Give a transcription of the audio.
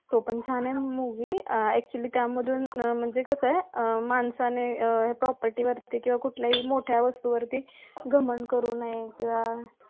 तो पण छान आहे movie actually त्यामधून म्हणजे कसं आह माणसाने आह property वरती किंवा कुठल्याही मोठ्या वास्तुवर्ती घमंड करू नये किंवा